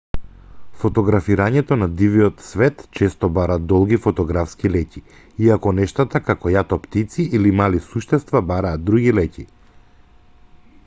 фотографирањето на дивиот свет често бара долги фотографски леќи иако нештата како јато птици или мали суштества бараат други леќи